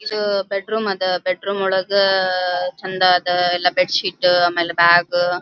ಇದು ಬೆಡ್ರೂಮ್ ಅದ ಬೆಡ್ರೂಮ್ ಒಳಗ ಚಂದ್ ಅದ ಎಲ್ಲ ಬೆಡ್ಶೀಟ್ ಬ್ಯಾಗ್ --